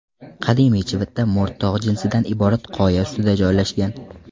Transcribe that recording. Qadimiy Chivita mo‘rt tog‘ jinsidan iborat qoya ustida joylashgan.